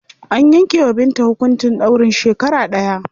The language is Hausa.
An yanke wa Binta hukuncin ɗaurin shekara ɗaya.